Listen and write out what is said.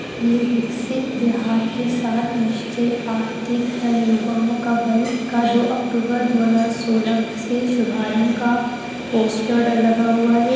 ये विकसित बिहार के साथ निश्चय आर्थिक दल गांवों का बल दो अक्तूबर दो हजार सोलह से शुभारंभ का पोस्टर लगा हुआ है।